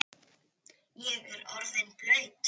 Ég er orðinn blaut